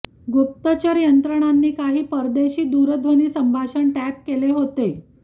गुप्तचर यंत्रणांनी काही परदेशी दूरध्वनी संभाषण टॅप केले होते